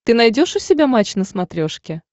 ты найдешь у себя матч на смотрешке